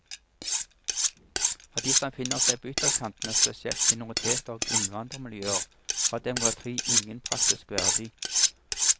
For de som befinner seg på ytterkantene, spesielt minoriteter og innvandrermiljøer, har demokrati ingen praktisk verdi.